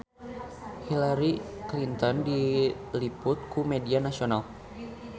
Hillary Clinton diliput ku media nasional